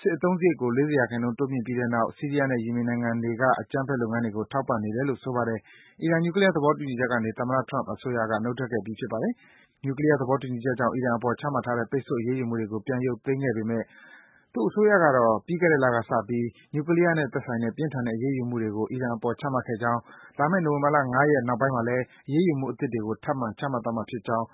စစ်အသုံးစားရိတ်ကို ၄၀% တိုးမြင့်ပြီးတဲ့နောက် ဆီးရီးယားနဲ့ ယီမင်နိုင်ငံတွေက အကြမ်းဖက်လုပ်ငန်းတွေကို ထောက်ပံ့နေတယ်လို့ ဆိုပါတယ်။ အီရန် နျူကလီးယား သဘောတူညီချက်ကနေ သမ္မတ Trump အစိုးရက နုတ်ထွက်ခဲ့ပြီး ဖြစ်ပါတယ်။ နျူကလီးယား သဘောတူညီချက်ကြောင့် အီရန်အပေါ် ချမှတ်ထားတဲ့ ပိတ်ဆို့အရေးယူမှုတွေကို ပြန်ရုပ်သိမ်းပေးခဲ့ပေမယ့် သူ့အစိုးရကတော့ ပြီးခဲ့တဲ့လကစပြီး နျူကလီးယားနဲ့သက်ဆိုင်တဲ့ ပြင်းထန်တဲ့ အရေးယူမှုတွေကို ချမှတ်ခဲ့ကြောင်း၊ လာမယ့် နိုဝင်ဘာ ၅ ရက် နောက်ပိုင်းမှာလည်း အရေးယူမှုအသစ်တွေကို ထပ်မံ ချမှတ်သွားမှာဖြစ်ကြောင်း